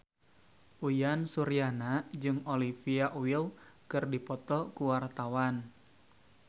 Uyan Suryana jeung Olivia Wilde keur dipoto ku wartawan